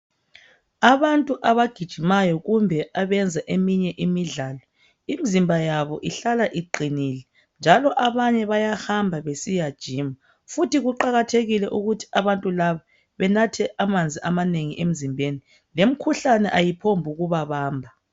Abantu abagijimayo kumbe abayenza eminye imidlalo imzimba yabo ihlala iqinile njalo abanye bayahamba besiya gyma futhi kuqakathekile ukuthi abantu laba banathe amanzi amanengi emzimbeni lemikhuhlane ayiphombukubabamba.